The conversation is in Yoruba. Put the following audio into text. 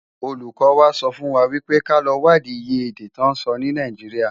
Ólúkò wá sòfúnwá wipé ká lò wádi iyé èdè tò nsò ni Náijiriá